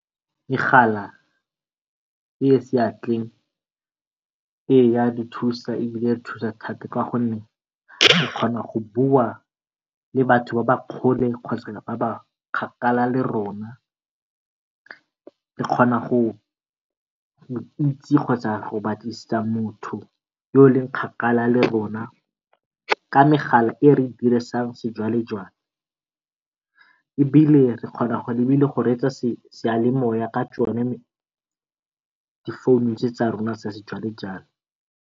e e seatleng e e dithusa, ebile e thusa thata ka gonne o kgona go bua le batho ba ba kgole ba ba kgakala le rona re kgona go itse kgotsa go batlisisa motho yo o leng kgakala le rona ka megala e re e dirisang sejwalejwale. Ebile re kgona go reetsa seyalemoya ka tsone di phone tse tsa rona tsa sejwalejwale.